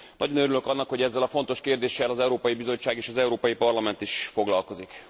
Nagyon örülök annak, hogy ezzel a fontos kérdéssel az Európai Bizottság és az Európai Parlament is foglalkozik.